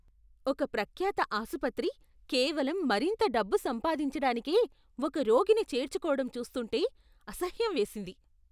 ఒక ప్రఖ్యాత ఆసుపత్రి కేవలం మరింత డబ్బు సంపాదించడానికే ఒక రోగిని చేర్చుకోవడం చూస్తుంటే అసహ్యం వేసింది.